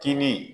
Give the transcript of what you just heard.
Tini